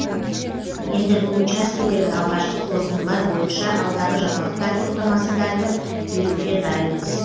енді бұл учаскедегі алғашқы қорытындылар бойынша алдағы жаңалықтар топтамасында айтып беруге дайынбыз